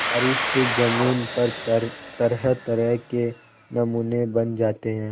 बारिश से ज़मीन पर तरहतरह के नमूने बन जाते हैं